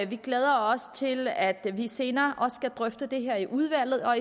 vi glæder os til at vi senere også skal drøfte det her i udvalget og